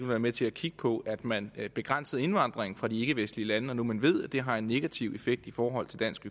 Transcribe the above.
være med til at kigge på at man begrænsede indvandringen fra de ikkevestlige lande når nu man ved det har en negativ effekt i forhold til dansk